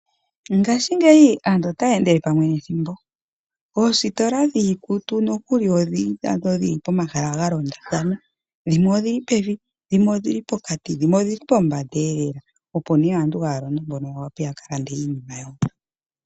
Ngaashingeyi aantu otaya endele pamwe nethimbo . Oositola dhiikutu nadho odhi li pomahala galondathana . Dhimwe odhili pevi, dhimwe odhili pokati nadhimwe odhili pombandaelela, opo aantu mpono haya londo yawape yakalande iinima yawo.